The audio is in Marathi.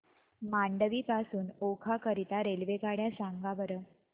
मांडवी पासून ओखा करीता रेल्वेगाड्या सांगा बरं